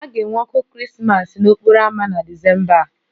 A ga-enwe ọkụ Krismas n'okporo ámá na Disemba a